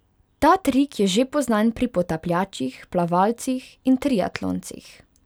Ta trik je že poznan pri potapljačih, plavalcih in triatloncih.